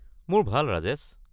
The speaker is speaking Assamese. মোৰ ভাল, ৰাজেশ।